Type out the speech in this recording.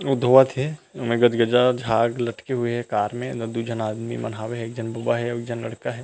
ओ धोवत हे ओमे गजगजा झांग लटके हुए हे कार में दू झन आदमी मन हावे एक झन बबा हे एक झन लड़का हे।